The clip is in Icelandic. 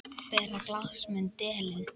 Bera glas mun delinn.